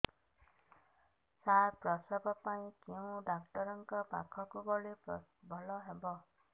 ସାର ପ୍ରସବ ପାଇଁ କେଉଁ ଡକ୍ଟର ଙ୍କ ପାଖକୁ ଗଲେ ଭଲ ହେବ